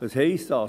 Was heisst das?